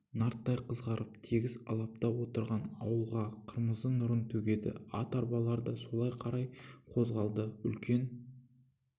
нарттай қызарып тегіс алапта отырған ауылға қырмызы нұрын төгеді ат арбалар да солай қарай қозғалды үлкен